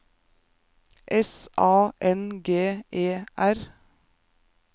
S A N G E R